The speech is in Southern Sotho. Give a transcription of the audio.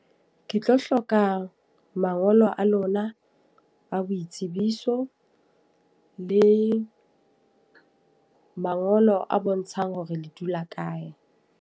Ke tlo hloka mangolo a lona a boitsebiso. Le mangolo a bontshang hore le dula kae.